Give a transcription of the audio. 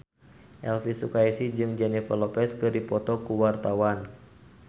Elvy Sukaesih jeung Jennifer Lopez keur dipoto ku wartawan